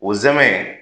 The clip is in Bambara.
O zɛmɛ